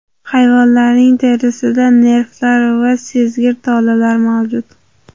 Hayvonlarning terisida nervlar va sezgir tolalar mavjud.